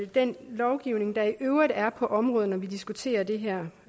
den lovgivning der i øvrigt er på området når vi diskuterer det her